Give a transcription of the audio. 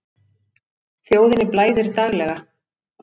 Þjóðinni blæðir daglega.